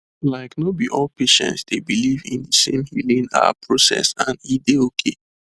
like no be all patients dey believe in de same healing ah process and e dey okay